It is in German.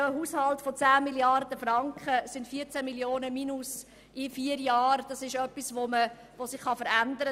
In einem Finanzhaushalt von 10 Mrd. Franken können sich 14 Mio. Franken Defizit in vier Jahren bekanntlich verändern;